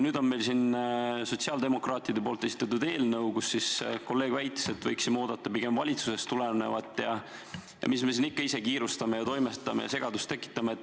Nüüd on meil siin sotsiaaldemokraatide esitatud eelnõu, mille kohta kolleeg väitis, et võiksime oodata pigem valitsusest tulevat eelnõu ja mis me siin ikka kiirustame ja ise toimetame ja segadust tekitame.